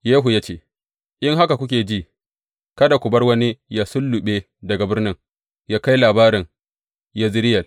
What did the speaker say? Yehu ya ce, In haka kuke ji, kada ku bar wani yă sulluɓe daga birnin yă kai labarin Yezireyel.